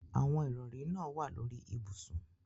Awọn irọri naa wa lori ibusun